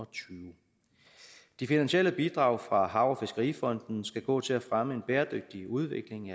tyve de finansielle bidrag fra hav og fiskerifonden skal gå til at fremme en bæredygtig udvikling